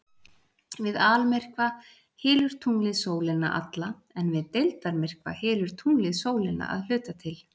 Við almyrkva hylur tunglið sólina alla en við deildarmyrkva hylur tunglið sólina að hluta til.